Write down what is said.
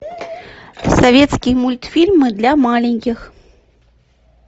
советские мультфильмы для маленьких